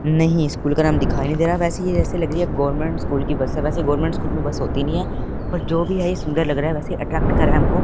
नहीं स्कूल का नाम दिखाई नहीं दे रहा है वैसे ये ऐसे लग रही है गवर्मेंट स्कूल की बस है वैसे गवर्मेंट स्कूल में बस होती नहीं है पर जो भी है ये सुंदर लग रहा है वैसे अट्रैक्ट कर रहा है हमको।